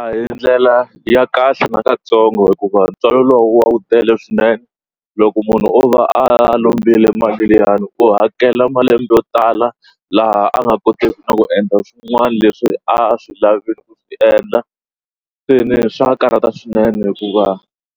A hi ndlela ya kahle nakatsongo hikuva ntswalo lowu wu tele swinene loko munhu o va a lombiwile mali liyani u hakela malembe yo tala laha a nga koteki ku endla swin'wana leswi a swi lavi ku swi endla swi ni swa karata swinene hikuva